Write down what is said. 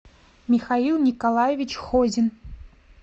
михаил николаевич хозин